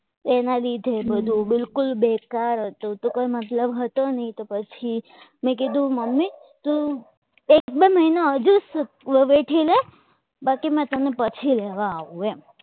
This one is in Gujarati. એના લીધે બધું બિલકુલ બેકાર હતું તો કોઈ મતલબ હતો નહીં તો પછી મેં કીધું મમ્મી તો એક બે મહિનો વેઠી લે બાકી મેં તમને પછી લેવા આવું એમ